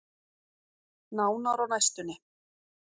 Nánar á næstunni.